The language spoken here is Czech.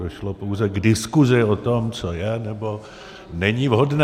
Došlo pouze k diskuzi o tom, co je, nebo není vhodné.